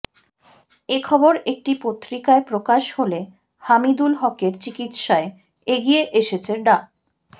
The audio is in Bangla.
এ খবর একটি পত্রিকায় প্রকাশ হলে হামিদুল হকের চিকিৎসায় এগিয়ে এসেছে ডা